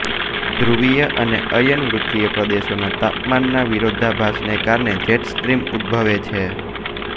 ધ્રુવીય અને અયનવૃત્તિય પ્રદેશોના તાપમાનના વિરોધાભાસને કારણે જેટ સ્ટ્રીમ ઉદભવે છે